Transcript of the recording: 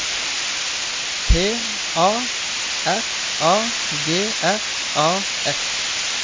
P A R A G R A F